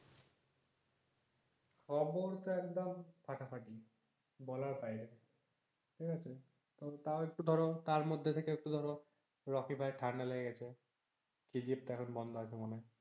খবর তো একদম ফাটাফাটি, বলার বাইরে ঠিক আছে। তো তাও একটু ধরো তার মধ্যে থেকে একটু ধরো রকি ভাইয়ের ঠান্ডা লেগে গেছে, সেই দিকটা এখন বন্ধ আছে মনে হয়।